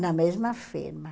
Na mesma firma.